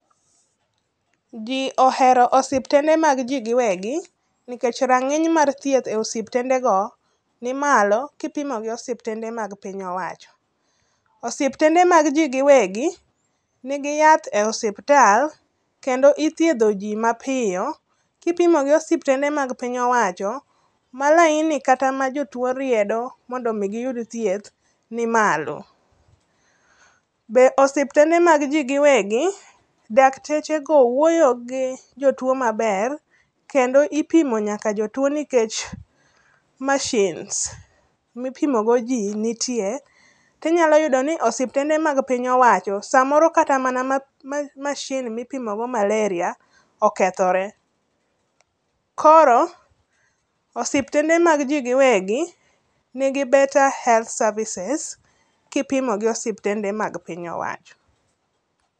Ji ohero osiptende mag ji giwegi nikech range'ny mag thieth e esptende go nimalo ka ipimo gi osipitende mag piny owacho osiptende mag ji giwegi nigi yath e osisptal kendo ithietho ji mapiyo kipimo gi osiptende mag piny owacho malaini makata jowo riedo mondo omi giyud thieth nimalo be osiptende mag ji giwegi, dakteche go wuoyo gi jotuo maber kendo ipimo nyaka jotuo nikech machines ma ipimogo ji nitie to inyalo yudo ni osiptende ma piny owacho samoro kata mana machine ma ipmogodo malaria okothore koro osiptende maj ji giwegi nigi better health servises kipimo gi osiptende mag mapiny owacho.